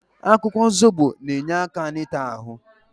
Akwụkwọ Zobo na-enye aka n'ita ahụ.